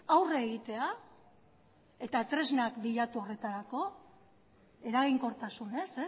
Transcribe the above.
aurre egitea eta tresnak bilatu horretarako eraginkortasunez